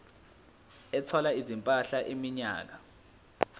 ethwala izimpahla iminyaka